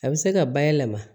A bɛ se ka bayɛlɛma